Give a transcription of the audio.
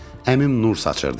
Əmim nur saçırdı yenə.